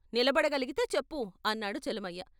నిలబడగలిగితే చెప్పు ' అన్నాడు చలమయ్య.